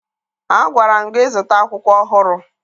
Agwara m gị zụta akwụkwọ ọhụrụ!